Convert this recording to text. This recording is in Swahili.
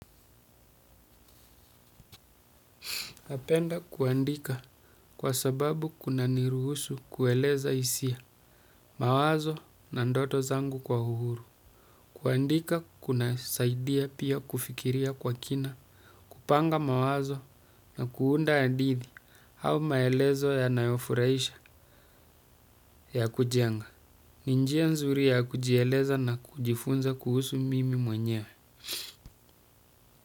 Napenda kuandika kwa sababu kunaniruhusu kueleza hisia mawazo na ndoto zangu kwa uhru. Kuandika kuna saidia pia kufikiria kwa kina, kupanga mawazo na kuunda adithi au maelezo yanayofuraisha ya kujenga. Ni njia nzuri ya kujieleza na kujifunza kuhusu mimi mwenyewe.